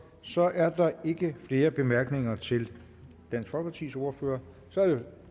så er der ikke flere bemærkninger til dansk folkepartis ordfører så er det